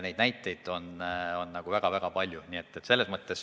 Neid näiteid on väga-väga palju.